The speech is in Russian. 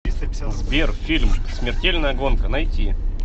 сбер фильм смертельная гонка найти